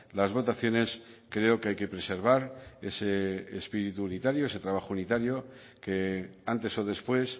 las votaciones creo que hay que preservar ese espíritu unitario ese trabajo unitario que antes o después